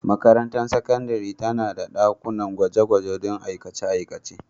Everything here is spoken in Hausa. Makarantar sakandare tana da dakunan gwaje-gwaje don aikace-aikace.